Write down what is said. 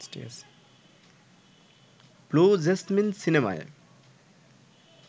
blue Jasmine সিনেমায়